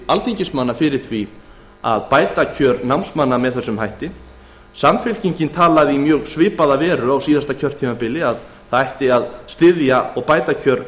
alþingismanna styðji bætt kjör námsmanna með þessum hætti samfylkingin talaði í svipaða veru á síðasta kjörtímabili að styðja ætti námsmenn og bæta kjör